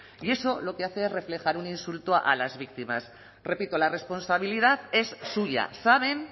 y eso lo que hace es reflejar un insulto a las víctimas repito la responsabilidad es suya saben